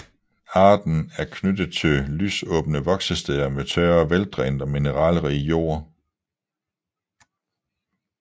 Arten er knyttet til lysåbne voksesteder med tør og veldrænet og mineralrig jord